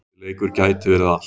Þessi leikur gæti verið allt.